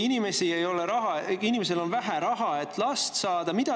Inimesel on vähe raha, et last saada.